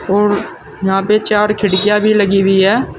और यहां पे चार खिड़कियां भी लगी हुई है।